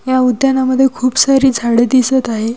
या उद्यानामध्ये खूप सारी झाडे दिसत आहे.